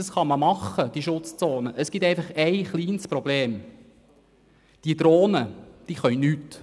Es gibt aber ein kleines Problem: Die Drohnen können nichts.